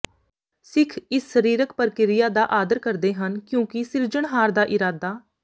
ਸਿੱਖ ਇਸ ਸਰੀਰਕ ਪ੍ਰਕਿਰਿਆ ਦਾ ਆਦਰ ਕਰਦੇ ਹਨ ਕਿਉਂਕਿ ਸਿਰਜਣਹਾਰ ਦਾ ਇਰਾਦਾ